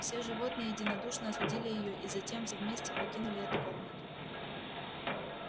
все животные единодушно осудили её и затем все вместе покинули эту комнату